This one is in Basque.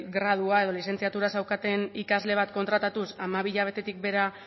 gradua edo lizentziatura zeukaten ikasle bat kontratatuz hamabi hilabetetik behera